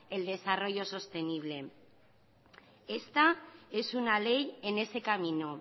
el desarrollo sostenible esta es una ley en este camino